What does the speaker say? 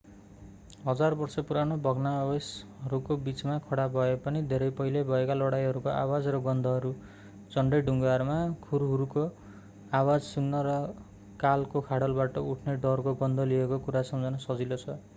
हजार वर्ष पुरानो भग्नावशेषहरूको बिचमा खडा भए पनि धेरै पहिले भएका लडाईहरूको आवाज र गन्धहरू झन्डै ढुङ्गाहरूमा खुरहरूको आवाज सुन्न र कालको खाडलबाट उठ्ने डरको गन्ध लिएको कुरा सम्झन सजिलो छ